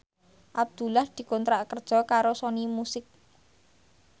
Abdullah dikontrak kerja karo Sony Music